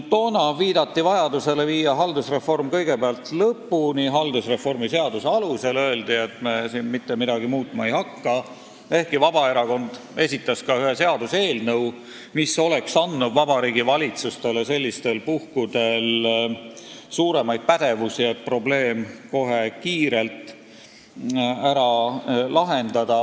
Toona viidati vajadusele viia haldusreform haldusreformi seaduse alusel kõigepealt lõpuni ja öeldi, et me mitte midagi muutma ei hakka, ehkki Vabaerakond esitas ühe seaduseelnõu, mis oleks andnud Vabariigi Valitsusele sellistel puhkudel suurema pädevuse, et probleem kohe kiirelt ära lahendada.